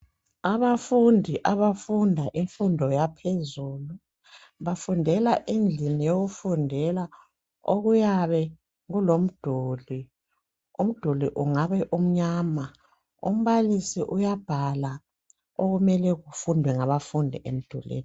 Abafundi abafunda imfundo yaphezulu bafundela endlini yokufundela okuyabe kulomduli, umduli ungabe umnyama. Umbalisi uyabhala okumele kufundwe ngabafundi emdulwini.